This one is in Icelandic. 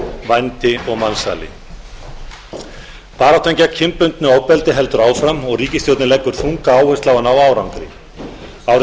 vændi og mansali baráttan gegn kynbundnu ofbeldi heldur áfram og ríkisstjórnin leggur þunga áherslu á að ná árangri árið